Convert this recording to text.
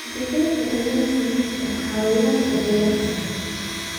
Digaagga ayaa ka mid ah xayawaanka beeraha.